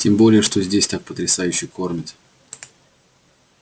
тем более что здесь так потрясающе кормят